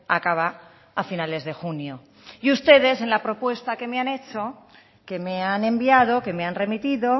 acaba a finales de junio y ustedes en la propuesta que me han hecho que me han enviado que me han remitido